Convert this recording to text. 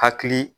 Hakili